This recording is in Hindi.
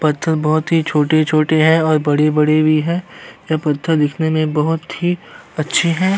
पत्थर बहोत ही छोटे-छोटे है और बड़े-बड़ी भी है ये पत्थर दिखने में बहोत ही अच्छे हैं।